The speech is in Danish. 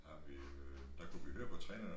Har vi øh der kunne vi løbe og træne eller